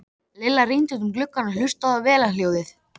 Lilla rýndi út um gluggann og hlustaði á vélarhljóðið.